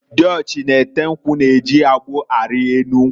Diochi na-ete nkwu na-eji agbụ ari enu nkwu.